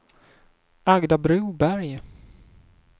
Agda Broberg